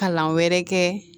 Kalan wɛrɛ kɛ